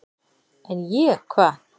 """En ég, hvað?"""